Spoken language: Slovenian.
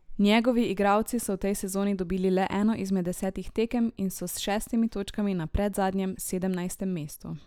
Njegovi igralci so v tej sezoni dobili le eno izmed desetih tekem in so s šestimi točkami na predzadnjem, sedemnajstem mestu.